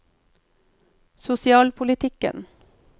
sosialpolitikken